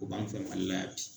O b'an fɛ Malila yan bi